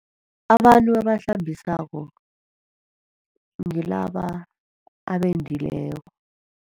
Abantu abahlambisako ngilaba abendileko.